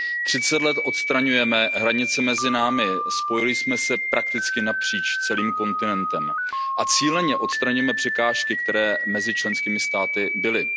Třicet let odstraňujeme hranice mezi námi, spojili jsme se prakticky napříč celým kontinentem a cíleně odstraňujeme překážky, které mezi členskými státy byly.